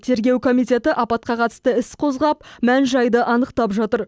тергеу комитеті апатқа қатысты іс қозғап мән жайды анықтап жатыр